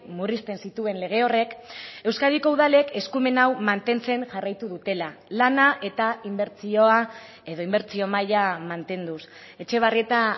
murrizten zituen lege horrek euskadiko udalek eskumen hau mantentzen jarraitu dutela lana eta inbertsioa edo inbertsio maila mantenduz etxebarrieta